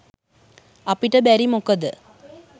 අපිට බැරි මොකද?